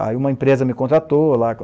Aí uma empresa me contratou lá.